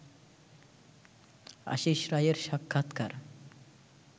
আশিস রায়ের সাক্ষাৎকার